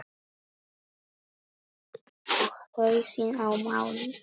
Og hausinn á manni.